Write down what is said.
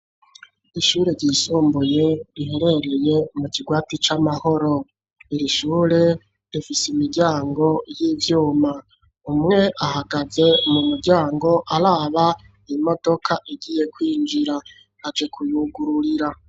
ishure ryisumbuye riherereye mu kigwati c'amahoro iri shure rifise imiryango y'ibyuma umwe ahagaze mu muryango araba imodoka igiye kwinjira aje kuyugururira